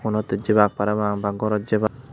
honotet jebak parapang na gorot jebak.